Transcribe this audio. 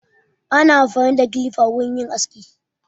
Ana amfani da kilifa wurin yin aski.